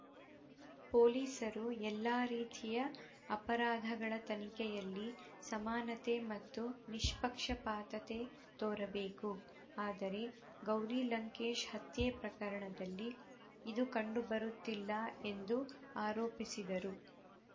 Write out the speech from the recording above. ಪೊಲೀಸರು ಎಲ್ಲ ರೀತಿಯ ಅಪರಾಧಗಳ ತನಿಖೆಯಲ್ಲಿ ಸಮಾನತೆ ಮತ್ತು ನಿಷ್ಪಕ್ಷಪಾತತೆ ತೋರಬೇಕು ಆದರೆ ಗೌರಿ ಲಂಕೇಶ್‌ ಹತ್ಯೆ ಪ್ರಕರಣದಲ್ಲಿ ಇದು ಕಂಡುಬರುತ್ತಿಲ್ಲ ಎಂದು ಆರೋಪಿಸಿದರು